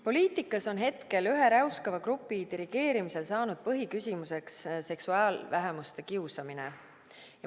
Poliitikas on hetkel ühe räuskava grupi dirigeerimisel saanud põhiküsimuseks seksuaalvähemuste kiusamine.